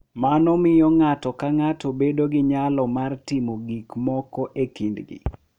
Mano miyo ng’ato ka ng’ato bedo gi nyalo mar timo gik moko e kindgi .